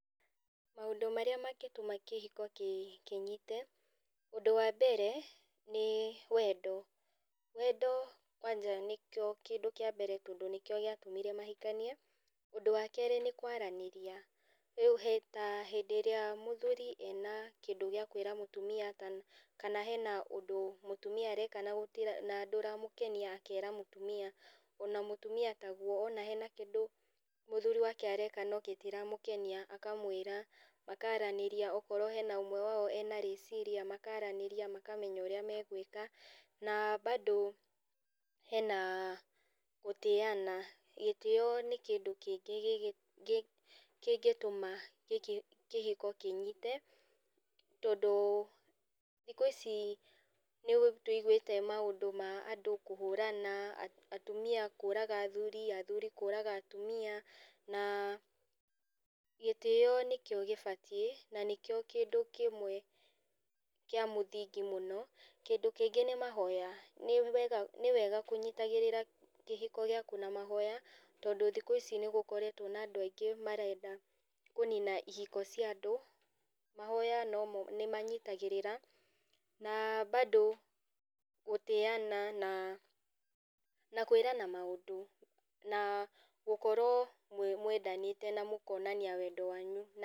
Maũndũ marĩa mangĩtũma kĩhiko kĩnyite, ũndũ wa mbere nĩ wendo. Wendo kwanja nĩkĩo kĩndũ kĩa mbere tondũ nĩkĩo gĩatũmire mahikanie. Ũndũ wa kerĩ nĩ kwaranĩrĩa, rĩu ta hĩndĩ ĩrĩa mũthuri e na kĩndũ gĩa kwĩra mũtumia kana he na ũndũ mũtumia areka na ndũramũkenia akera mũtumia, o na mũtumia ta guo, o nake he na kĩndũ mũthuri wake areka no gĩtiramũkenia akamũĩra, makaranĩria okorwo he na ũmwe wa o e na rĩciria makaranĩria makamenya ũrĩa megũĩka. Na bado he na gũtĩyana, gĩtĩyo nĩ kĩndũ kĩngĩ kĩngĩtũma kĩhiko kĩnyite tondũ thikũ ici nĩtũiguĩte maũndũ ma andũ kũhũrana atũmia kũraga athuri, athuri kũraga atumia na gĩtĩyo nĩkĩo gĩbatiĩ na nĩkĩo kĩndũ kĩmwe kĩa mũthingi mũno. Kĩndũ kĩngĩ nĩ mahoya, nĩ wega kũnyitagĩrĩra kĩhiko gĩaku na mahoya tondũ thikũ ici nĩ gũkoretwo na andũ aingĩmarenda kũnina ihiko ciandũ, mahoya no mo nĩmanyitagĩrĩra na bado gũtĩyana nakũĩrana maũndũ nagũkorwo mũendanĩte na mũkonania wendo wanyu.